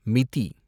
மிதி